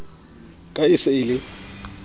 ka e se e le